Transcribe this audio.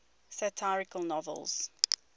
satirical novels